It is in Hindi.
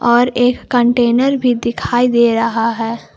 और एक कंटेनर भी दिखाई दे रहा है।